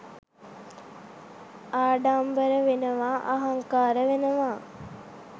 ආඩම්බර වෙනවා අහංකාර වෙනවා